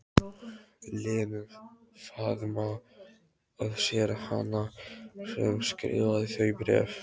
Lenu, faðma að sér hana sem skrifaði þau bréf.